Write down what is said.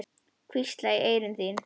Hvísla í eyru þín.